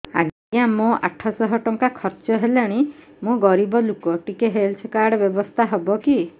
ଆଜ୍ଞା ମୋ ଆଠ ସହ ଟଙ୍କା ଖର୍ଚ୍ଚ ହେଲାଣି ମୁଁ ଗରିବ ଲୁକ ଟିକେ ହେଲ୍ଥ କାର୍ଡ ବ୍ୟବସ୍ଥା ହବ କି